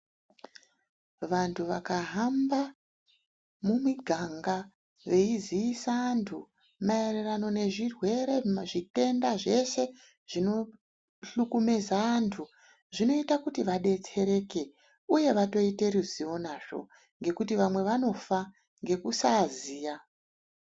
Vantu vakahamba mumiganga vei ziisa antu maererano nezvirwere, zvitenda zveshe zvino hlukumeza antu, zvinoita kuti vadetsereke, uye vatoite ruzivo nazvo ngekuti vamwe vanofa ngekusaa ziya.